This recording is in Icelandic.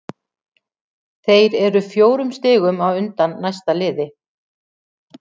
Þeir eru fjórum stigum á undan næsta liði.